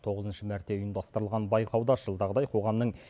тоғызыншы мәрте ұйымдастырылған байқауда жылдағыдай қоғамның